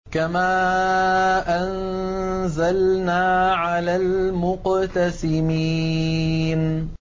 كَمَا أَنزَلْنَا عَلَى الْمُقْتَسِمِينَ